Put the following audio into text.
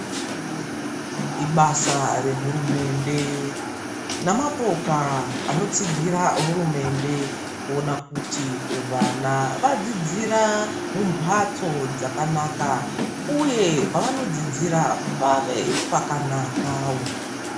Ibasa rehurumende nemapoka anotsigira hurumende kuona kuti vana vadzidzira mumhatso dzakanaka uye pavanodzidzira pave pakanakawo.